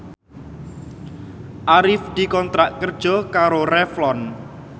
Arif dikontrak kerja karo Revlon